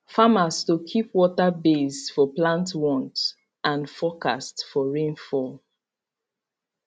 farmers to keep water based for plant want and forcast for rainfall